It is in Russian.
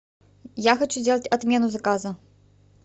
я хочу сделать отмену заказа